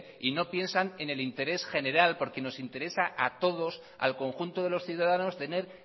y no piensan en el interés general porque no interesa a todos al conjunto de los ciudadanos tener